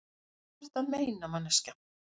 Hvað ertu að meina, manneskja?